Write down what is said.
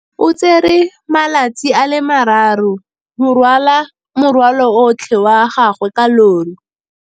O tsere malatsi a le marraro go rwala morwalo otlhe wa gagwe ka llori.